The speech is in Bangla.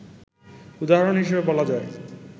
উদাহরণ হিসেবে বলা যায়